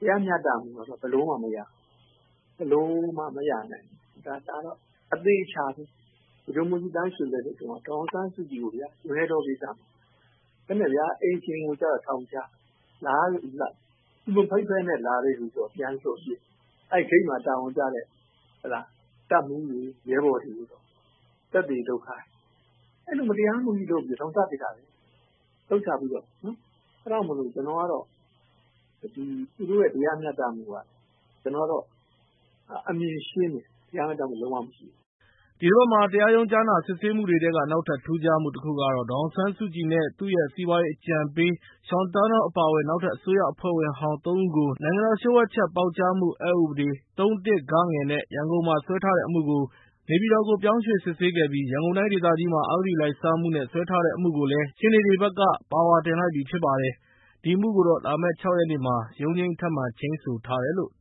တရားမျှတမှုကတော့ ဘယ်လိုမှမရဘူး။ ဘယ်လိုမှ မရနိုင်ဘူး။ ဒါတော့ အသေအချာပဲ။ ဗိုလ်ချုပ်မှူးကြီးသန်းရွှေ လက်ထက်တုန်းက ဒေါ်အောင်ဆန်းစုကြည်ကို ဂျွန်ယက်တောကိစ္စ၊ အိမ်ရှင်ကိုကျတော့ ထောင်ချတယ်။ သူ မဖိတ်ဘဲနဲ့ လာတဲ့လူတော့ ပြန်လွှတ်ပေးတယ်။ အဲဒီဂိတ်မှာ တာဝန်ကျတဲ့ တပ်မှူးတွေ ရဲဘော်တွေကိုတော့ သက်သေလုပ်ခိုင်းတယ်။ အဲဒီလို မတရားမှုကြီးလုပ်ပြီး ထောင်ချပစ်တာလေ၊ အသုံးချပြီးတော့။ အဲဒါကြောင့်မို့ ကျနော်ကတော့ သူတို့ရဲ့ တရားမျှတမှုက ကျနော်ကတော့ အမြင်ရှင်းတယ်၊ တရားမျှတမှု လုံးဝမရှိဘူး။” ဒီတပတ်မှာ တရားရုံးကြားနာစစ်ဆေးမှုတွေထဲက နောက်ထပ် ထူးခြားတာကတော့ ဒေါ်အောင်ဆန်းစုကြည်နဲ့ သူ့ရဲ့ စီးပွားရေးအကြံပေး Sean Turnell အပါအဝင် နောက်ထပ် အစိုးရအဖွဲ့ဝင်ဟောင်း ၃ ဦးကို နိုင်ငံတော်လျှို့ဝှက်ချက် ပေါက်ကြားမှု အက်ဥပဒေ ၃ (၁) (ဂ) နဲ့ ရန်ကုန်မှာ စွဲထားတဲ့အမှုကို နေပြည်တော်ကို ပြောင်းရွှေ့ စစ်ဆေးခဲ့ပြီး ရန်ကုန်တိုင်းဒေသကြီးမှာ အဂတိလိုက်စားမှုနဲ့ စွဲထားတဲ့အမှုကို ရှေ့နေတွေဘက်က ပါဝါတင်လိုက်ပြီ ဖြစ်ပါတယ်။ ဒီအမှုကိုတော့ လာမယ့် ၆ ရက်နေ့မှာ ရုံးချိန်း ထပ်မံချိန်းဆိုထားပါတယ်။